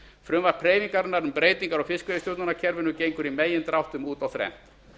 frumvarp hreyfingarinnar um breytingar á fiskveiðistjórnarkerfinu gengur í megindráttum út á þrennt